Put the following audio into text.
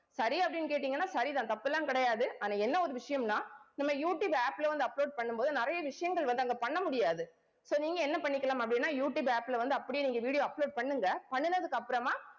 சரியா அப்படின்னு கேட்டீங்கன்னா சரிதான் தப்பெல்லாம் கிடையாது. ஆனா என்ன ஒரு விஷயம்னா நம்ம யூடியூப் app ல வந்து, upload பண்ணும் போது நிறைய விஷயங்கள் வந்து அங்க பண்ண முடியாது so நீங்க என்ன பண்ணிக்கலாம் அப்படின்னா யூடியூப் app ல வந்து அப்படியே நீங்க video upload பண்ணுங்க பண்ணுனதுக்கு அப்புறமா